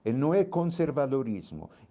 Ele não é conservadorismo.